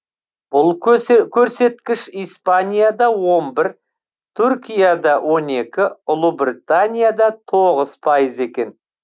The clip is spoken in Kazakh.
бұл көрсеткіш испанияда он бір түркияда он екі ұлыбританияда тоғыз пайыз екен